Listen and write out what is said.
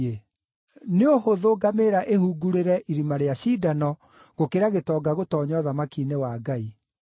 Nĩ ũhũthũ ngamĩĩra ĩhungurĩre irima rĩa cindano, gũkĩra gĩtonga gũtoonya ũthamaki-inĩ wa Ngai.”